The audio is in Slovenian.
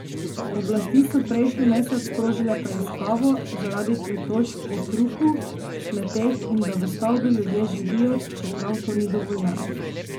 Oblasti so prejšnji mesec sprožile preiskavo, zaradi pritožb o hrupu, smeteh in da v stavbi ljudje živijo, čeprav to ni dovoljeno.